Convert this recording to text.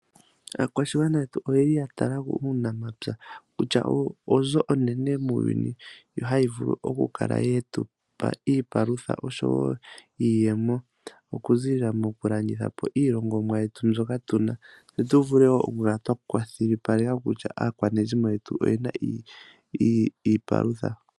Aakwashigwana yetu oya tala ko uunamapya kutya oyo onzo onene muuyuni hayi vulu okukala ye tu pa iipalutha oshowo iiyemo okuziilila mokulanditha po iilongomwa mbyoka tu na, tse tu kale kwa kwashilipaleka kutya aakwanezimo yetu oye na iipalutha.